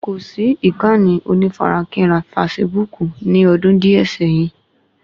Kò sì ìkànnì onífarakínra fasibúùkù ní ọdún díè sẹ́yìn